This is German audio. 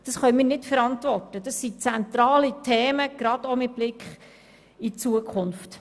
Das können wir nicht verantworten, denn es handelt sich dabei um zentrale Themen, gerade auch mit Blick auf die Zukunft.